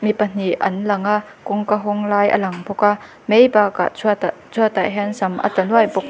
mi pahnih an lang a kawngka hawng lai a lang bawk a mai bakah chhuatah chhuatah hian sam a tla nuai bawk--